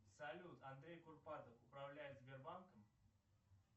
салют андрей курпатов управляет сбербанком